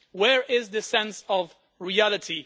Where is the sense of reality?